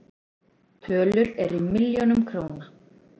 Tölur eru í milljónum króna.